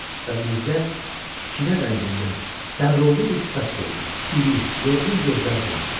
Və Mirzə kinə rəngində dəmrovlu bir sifət gördü, iri, yorğun gözlər gördü.